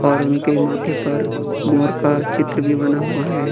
और उनके माथे पर मोर का चित्र भी बना हुआ है।